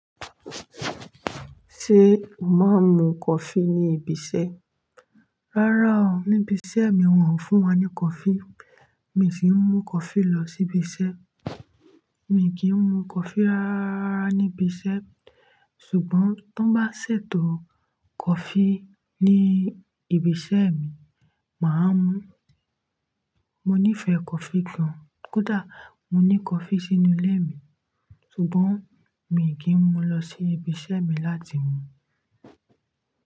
Ṣé o máa ń mu coffee ní ibi iṣẹ́? Rárá o, níbi iṣẹ́ mi wọ́n ò fún wa ní coffee. Mi sì ń mú coffee lọ sí ibi iṣẹ́. Mi kìi n mu coffee rárá ní ibi iṣẹ́ ṣùgbọ́n tọ́n bá ṣètò coffee ní ibi iṣẹ́ mi, mà á mú. Mo nífẹ̀ẹ́ coffee gan Kódà mo ní coffee sínú ilé mi ṣùgbọ́n mi kì í mu lọ sí ibi iṣẹ́ mi láti mu.